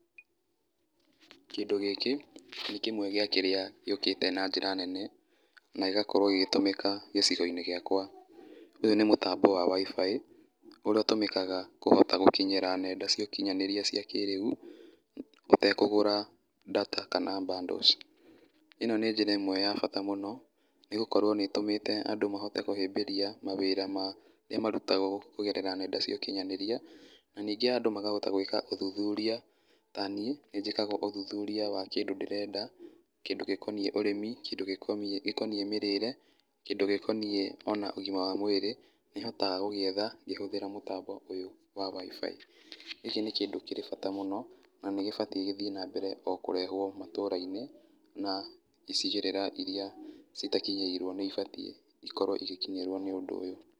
Kĩndũ gĩkĩ, nĩ kĩmwe gĩa kĩrĩa gĩũkĩte na njĩra nene, na gĩgakorwo gĩgĩtũmĩka gĩcigo-inĩ gĩakwa. Ũyũ nĩ mũtambo wa WIFI, ũrĩa ũtũmĩkaga kũhota gũkinyĩra nenda cia ũkinyanĩria cia kĩrĩu, ũtekũgũra data kana bundles. Ino nĩ njĩra ĩmwe ya bata mũno nĩ gũkorwo nĩ ĩtũmĩte andũ mahote kũhĩmbĩria mawĩra marĩa marutagwo kũgerera nenda cia ũkinyanĩria. Na ningĩ andũ makahota gwĩka ũthuthuria, ta niĩ nĩ njĩkaga ũthuthuria wa kĩndũ ndĩrenda, kĩndũ gĩkoniĩ ũrĩmi, kĩndũ gĩkoniĩ mĩrĩre, kĩndũ gĩkoniĩ ona ũgima wa mwĩrĩ, nĩ hotaga gũgĩetha ngĩhũthĩra mũtambo ũyũ wa WIFI. Gĩkĩ nĩ kĩndũ kĩrĩ bata mũno na nĩ gĩbatiĩ gĩthiĩ na mbere o kũrehwo matũra-inĩ na icigĩrira iria citakinyĩirwo nĩ ibatiĩ ikorwo igĩkinyĩrwo nĩ ũndũ ũyũ.